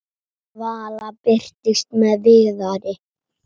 Vala birtist með Viðari.